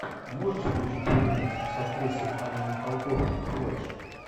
можешь включить фильмец с актрисой анной михалковой флэш